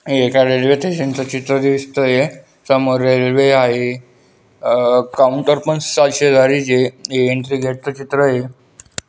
हे एका रेल्वेस्टेशन च चित्र दिसतय समोर रेल्वे आहे काऊंटर पण एंट्री गेट च चित्र आहे.